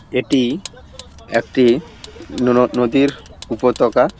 এটি একটি ন-ন-নদীর উপত্যকা ।